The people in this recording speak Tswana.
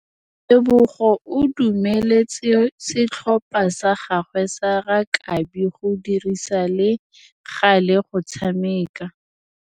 Tebogô o dumeletse setlhopha sa gagwe sa rakabi go dirisa le galê go tshameka.